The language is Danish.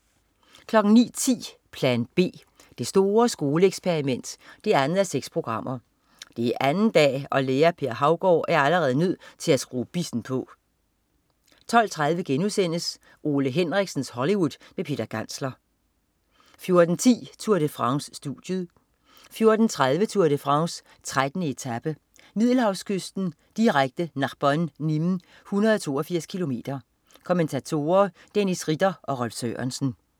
09.10 Plan B. Det store skoleeksperiment 2:6. Det er anden dag og Lærer Per Havgaard er allerede nødt til at skrue bissen på 12.30 Ole Henriksens Hollywood med Peter Gantzler 2:6* 14.10 Tour de France. Studiet 14.30 Tour de France: 13. etape, Middelhavskysten. Direkte, Narbonne-Nîmes, 182 km. Kommentatorer: Dennis Ritter og Rolf Sørensen